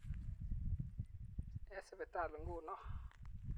eng sipitali nguno.